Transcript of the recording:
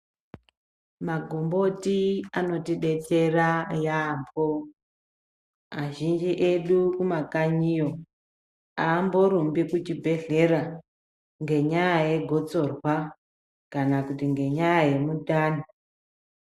Magomboti anotidetsera yambo azhinji edu kumakanyiyo amborumbi kuchibhedhlera ngenyaya yegotsorwa kana kuti ngenyaya yemundani.